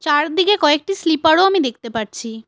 আর ওদিকে কয়েকটি স্লিপারও আমি দেখতে পারছি।